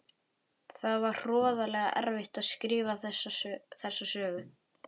Það var hroðalega erfitt að skrifa þessa sögu.